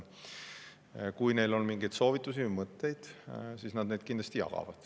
Kui neil on mingeid soovitusi või mõtteid, siis nad neid kindlasti jagavad.